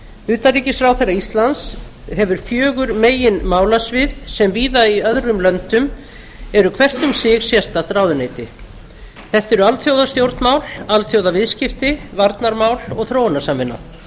utanríkisráðherra íslands hefur fjögur meginmálasvið sem víða í öðrum löndum eru hvert um sig sérstakt ráðuneyti þetta eru alþjóðastjórnmál alþjóðaviðskipti varnarmál og þróunarsamvinna